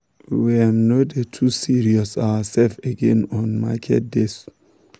we um no dey um too stress ourselves again on market days.